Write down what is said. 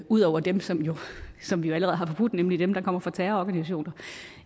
ud over dem som som vi jo allerede har forbudt nemlig dem der kommer fra terrororganisationer